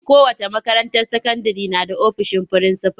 Kowace makaranta sakandire na da ofisin frinsifal.